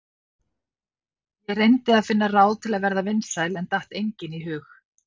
Ég reyndi að finna ráð til að verða vinsæl en datt engin í hug.